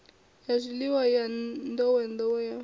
ya zwifhiwa ya nḓowenḓowe ya